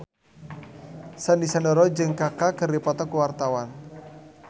Sandy Sandoro jeung Kaka keur dipoto ku wartawan